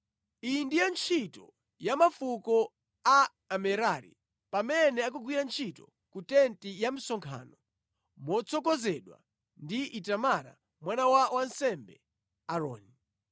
Iyi ndiyo ntchito ya mafuko a Amerari pamene akugwira ntchito ku tenti ya msonkhano motsogozedwa ndi Itamara mwana wa wansembe Aaroni.”